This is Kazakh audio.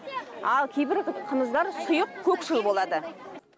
ал кейбір қымыздар сұйық көкшіл болады